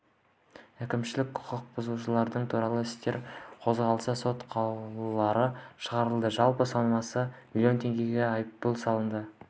әкімшілік құқық бұзушылықтар туралы істер қозғалды сот қаулылары шығарылды жалпы сомасы млн теңге айыппұл салынды